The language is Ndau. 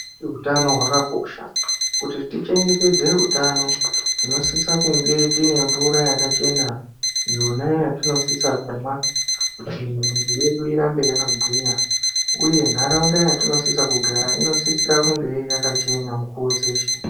Utano hwakakosha kuti tichengetdze utano tinosisa kunge tine mvura yakachena iyona yatinosisa kumwa kuti mwiri yedu irambe yakagwinya uye nharaunda yatinosisa kugara inosisira kunge yakachena mikuwo dzeshe.